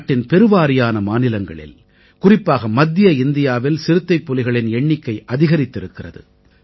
நாட்டின் பெருவாரியான மாநிலங்களில் குறிப்பாக மத்திய இந்தியாவில் சிறுத்தைப்புலிகளின் எண்ணிக்கை அதிகரித்திருக்கிறது